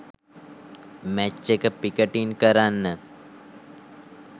match එක පිකටින් කරන්න